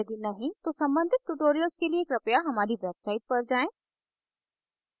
यदि नहीं तो सम्बंधित tutorials के लिए कृपया हमारी website पर जाएँ